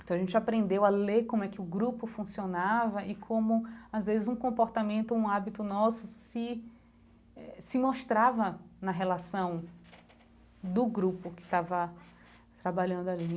Então a gente aprendeu a ler como é que o grupo funcionava e como às vezes um comportamento, um hábito nosso, se eh se mostrava na relação do grupo que estava trabalhando ali.